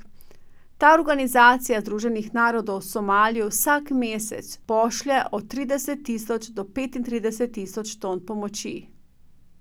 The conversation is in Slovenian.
Ta organizacija Združenih narodov Somalijo vsak mesec pošlje od trideset tisoč do petintrideset tisoč ton pomoči.